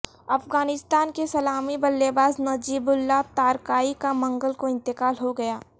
افغانستان کے سلامی بلےباز نجیب اللہ تارکائی کا منگل کو انتقال ہو گیا